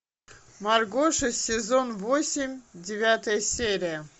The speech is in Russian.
маргоша сезон восемь девятая серия